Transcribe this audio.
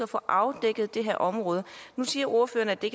få afdækket det her område nu siger ordføreren at det